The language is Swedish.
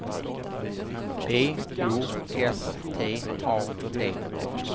B O S T A D